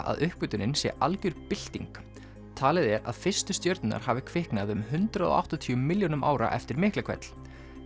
að uppgötvunin sé algjör bylting talið er að fyrstu stjörnurnar hafi kviknað um hundrað og áttatíu milljónum ára eftir Miklahvell